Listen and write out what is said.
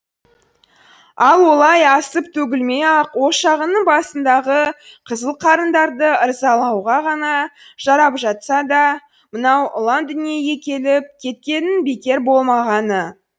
ал олай асып төгілмей ақ ошағыңның басындағы қызыл қарындарды ырзалауға ғана жарап жатса да мынау ұлан дүниеге келіп кеткеніңнің бекер болмағаны